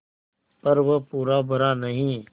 पर वह पूरा भरा नहीं